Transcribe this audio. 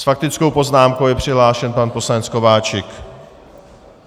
S faktickou poznámkou je přihlášen pan poslanec Kováčik.